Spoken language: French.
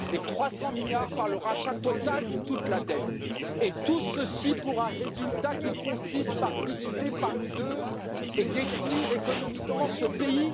et 300 milliards par le rachat total de toute la dette. Et tout ceci pour un résultat qui consiste à diviser par deux et à détruire économiquement ce pays.